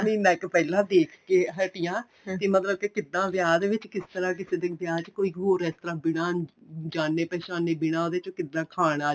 ਮਹੀਨਾ ਕ਼ ਪਹਿਲਾਂ ਦੇਖਕੇ ਹਟੀ ਆ ਮਤਲਬ ਕੇ ਕਿੱਦਾ ਵਿਆਹ ਦੇ ਵਿੱਚ ਕਿਸ ਤਰ੍ਹਾਂ ਕਿਸੇ ਦਿਨ ਵਿਆਹ ਦੇ ਵਿੱਚ ਕੋਈ ਹੋਰ ਇਸ ਤਰ੍ਹਾਂ ਬਿਨਾਂ ਜਾਣੇ ਪਛਾਣੇ ਬਿਨਾਂ ਉਹਦੇ ਚ ਕਿੱਦਾਂ ਖਾਣ ਆ